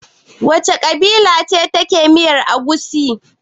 Wace kabila ce ke da miyar Egusi?